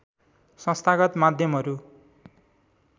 संस्थागत माध्यमहरू